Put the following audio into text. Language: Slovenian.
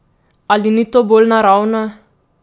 Ali ni to bolj naravno?